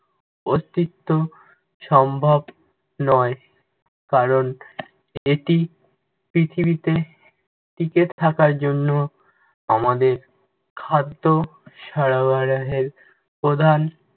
অস্তিত্ব সম্ভব নয়। কারণ, এটি পৃথিবীতে টিকে থাকার জন্য আমাদের খাদ্য সরবরাহের প্রধান